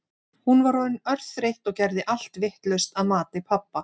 Hún var orðin örþreytt og gerði allt vitlaust að mati pabba.